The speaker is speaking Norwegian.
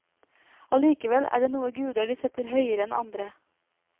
Allikevel er det noen guder de setter høyere enn andre.